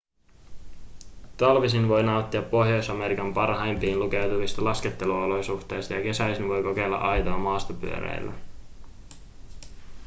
talvisin voi nauttia pohjois-amerikan parhaimpiin lukeutuvista lasketteluolosuhteista ja kesäisin voi kokeilla aitoa maastopyöräilyä